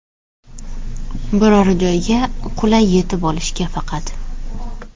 Biror joyga qulay yetib olishga faqat.